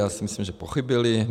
Já si myslím, že pochybili.